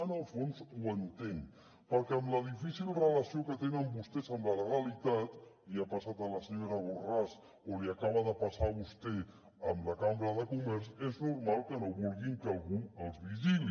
en el fons ho entenc perquè amb la difícil relació que tenen vostès amb la legalitat li ha passat a la senyora borràs o li acaba de passar a vostè amb la cambra de comerç és normal que no vulguin que algú els vigili